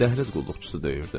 Dəhliz qulluqçusu döyürdü.